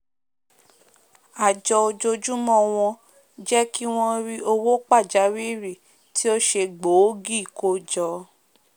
àjọ ọjọjúmọ́ wọn jẹ́ kí wọ́n ri owó pàjáwìrì tí o se gbòógì kójọ